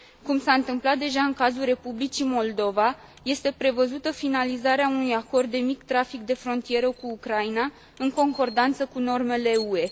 Cum s a întâmplat deja în cazul Republicii Moldova, este prevăzută finalizarea unui acord de mic trafic de frontieră cu Ucraina, în concordanță cu normele UE.